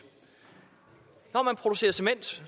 når man producerer cement